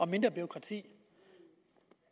mindre bureaukrati